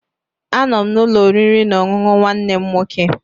Anọ m n'ụlọ oriri na ọṅụṅụ nwanne m nwoke.